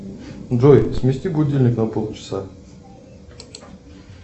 джой смести будильник на полчаса